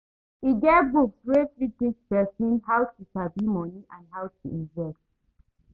E get books wey fit teach person how to sabi money and how to invest